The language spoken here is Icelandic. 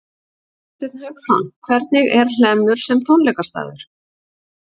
Hafsteinn Hauksson: Hvernig er Hlemmur sem tónleikastaður?